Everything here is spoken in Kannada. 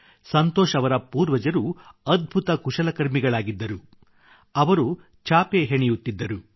ಸಂತೋಷ್ ಅವರ ಪೂರ್ವಜರು ಅದ್ಭುತ ಕುಶಲಕರ್ಮಿಗಳಾಗಿದ್ದರು ಅವರು ಚಾಪೆ ಹೆಣೆಯುತ್ತಿದ್ದರು